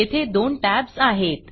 येथे दोन tabsटॅब्स आहेत